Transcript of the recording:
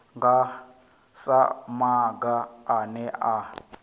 nga sa maga ane a